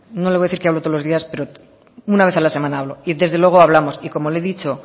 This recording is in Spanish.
no le voy a decir que hablo todos los días pero una vez a la semana hablo y desde luego hablamos y como le he dicho